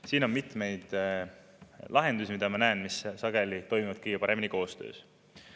Siin on mitmeid lahendusi, mida ma näen ja mis sageli toimivad kõige paremini koostöös.